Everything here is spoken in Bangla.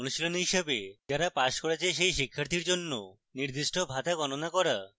অনুশীলনী হিসাবেযারা পাস করেছে সেই শিক্ষার্থীর জন্য নির্দিষ্ট ভাতা গণনা করা